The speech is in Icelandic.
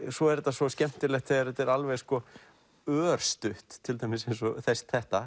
svo er þetta svo skemmtilegt þegar þetta er alveg örstutt til dæmis eins og þetta